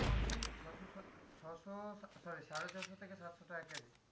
ঘি ছশো সত্তর, ছশো sorry সাড়ে ছশো থেকে সাতশো টাকা কেজি।